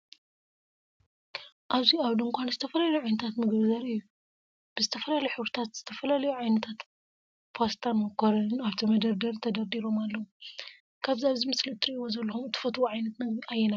ኣብዚ ኣብ ድንዃን ዝተፈላለዩ ዓይነታት ምግቢ ዘርኢ እዩ። ብ ዝተፈላለዩ ሕብሪታት ዝተፈላለዩ ዓይነታት ፓስታን ማኮሪንን ኣብቲ መደርደሪ ተደርዲሮም ኣለው። ካብዚ ኣብዚ ምስሊ እትሪእዎ ዘለኩም እትፈትውዎ ዓይነት ምግቢ ኣየናይ እዩ?